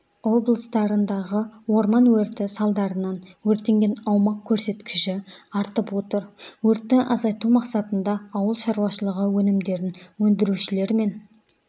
облыстарындағы орман өрті салдарынан өртенген аумақ көрсеткіші артып отыр өртті азайту мақсатында ауылшаруашылығы өнімдерін өндірушілермен